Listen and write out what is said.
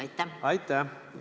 Aitäh!